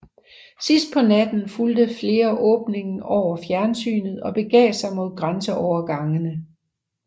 Sidst på natten fulgte flere åbningen over fjernsynet og begav sig mod grænseovergangene